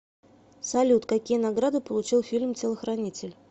салют какие награды получил фильм телохранитель